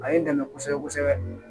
A ye n dɛmɛ kosɛbɛ kosɛbɛ